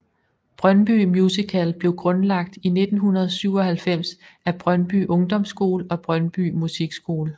Brøndby Musical blev grundlagt i 1997 af Brøndby Ungdomsskole og Brøndby Musikskole